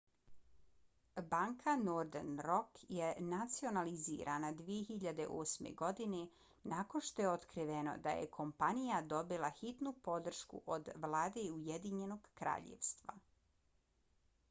banka northern rock je nacionalizirana 2008. godine nakon što je otkriveno da je kompanija dobila hitnu podršku od vlade ujedinjenog kraljevstva